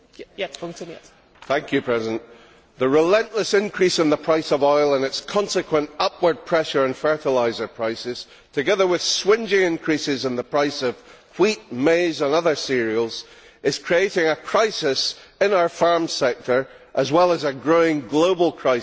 Madam President, the relentless increase in the price of oil and its consequent upward pressure on fertiliser prices, together with swingeing increases in the price of wheat, maize and other cereals, is creating a crisis in our farm sector, as well as a growing global crisis.